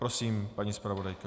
Prosím, paní zpravodajka.